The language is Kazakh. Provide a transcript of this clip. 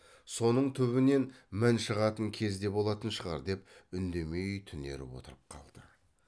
соның түбінен мін шығатын кез де болатын шығар деп үндемей түнеріп отырып қалды